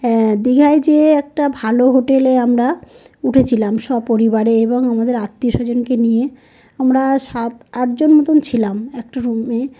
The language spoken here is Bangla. হ্যাঁ দীঘায় যে একটা ভালো হোটেল -এ আমরা উঠেছিলাম। সপরিবারে এবং আমাদের আত্মীয়-স্বজনকে নিয়ে আমরা সাত-আট জন মতন ছিলাম একটা রুম -এ।